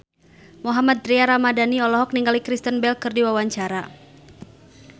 Mohammad Tria Ramadhani olohok ningali Kristen Bell keur diwawancara